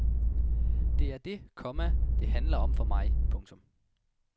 Det er det, komma det handler om for mig. punktum